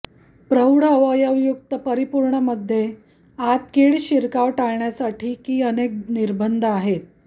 प्रौढ अवयवयुक्त परिपूर्ण मध्ये आत कीड शिरकाव टाळण्यासाठी की अनेक निर्बंध आहेत